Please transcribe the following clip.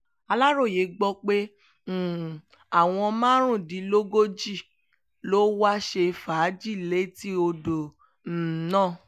aláròye gbọ́ pé um àwọn márùndínlógójì ló wáá ṣe fàájì létí odò um náà